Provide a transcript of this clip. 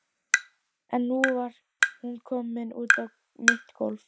En nú var hún komin út á mitt gólfið.